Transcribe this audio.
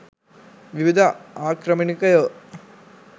විවිධ ආක්‍රමණිකයෝ